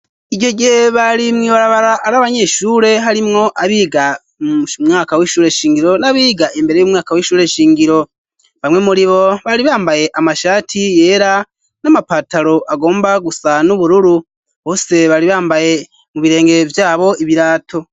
Ico gihe bari mwibarabara ari abanyeshure, harimwo abiga umwaka w'ishure shingiro ,n'abiga imbere y'umwaka w'ishure shingiro, bamwe muri bo bari bambaye amashati yera ,n'amapataro agomba gusa n'ubururu ,bose bari bambaye mu birenge vyabo ibirato.